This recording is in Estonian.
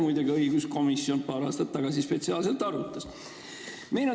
Muide, õiguskomisjon arutas paar aastat tagasi spetsiaalselt seda teemat.